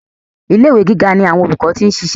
Ilé ìwé gíga ni àwọn olùkọ́ ti ń ṣiṣẹ́.